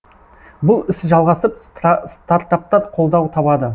бұл іс жалғасып стартаптар қолдау табады